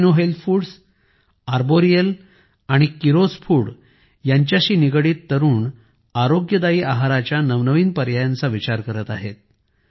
Alpino health foods Arboreal आणि Kiros food शी निगडीत तरुण आरोग्यदायी आहाराच्या पर्यायांबाबत नवनवीन पर्यायांचा विचार करत आहेत